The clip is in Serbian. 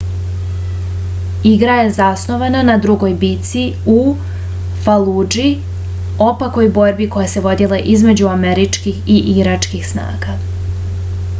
igra je zasnovana na drugoj bici u faludži opakoj borbi koja se vodila između američkih i iračkih snaga